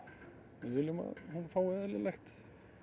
við viljum að hún fái eðlilegt